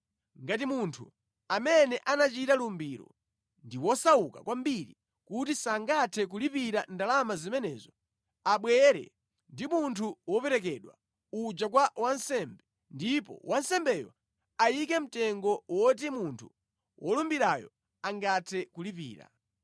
Ngati munthu amene anachita lumbiro ndi wosauka kwambiri kuti sangathe kulipira ndalama zimenezo, abwere ndi munthu woperekedwa uja kwa wansembe, ndipo wansembeyo ayike mtengo woti munthu wolumbirayo angathe kulipira.